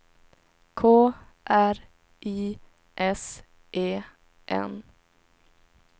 K R I S E N